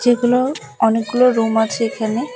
এগুলো অনেকগুলো রুম আছে এখানে।